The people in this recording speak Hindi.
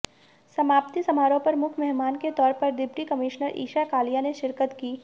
समाप्ति समारोह पर मुख्य मेहमान के तौर पर डिप्टी कमिश्नर ईशा कालिया ने शिरकत की